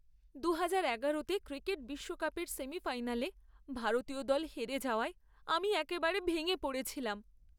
দুহাজার এগারো তে ক্রিকেট বিশ্বকাপের সেমিফাইনালে ভারতীয় দল হেরে যাওয়ায় আমি একেবারে ভেঙে পড়েছিলাম।